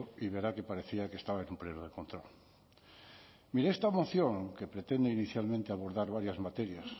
y verá que parecía que estaba en un pleno de control mire esta moción que pretende inicialmente abordar varias materias